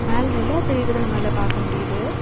மேல நிலா தெரியுறத நம்பளால பாக்க முடியுது.